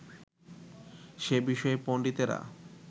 সে বিষয়ে পণ্ডিতেরা